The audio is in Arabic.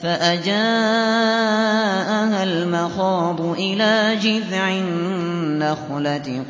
فَأَجَاءَهَا الْمَخَاضُ إِلَىٰ جِذْعِ النَّخْلَةِ